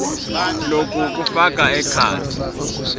loku kufaka ekhatsi